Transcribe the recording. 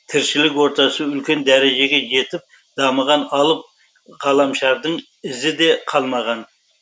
тіршілік ортасы үлкен дәрежеге жетіп дамыған алып ғаламшардың ізі де қалмаған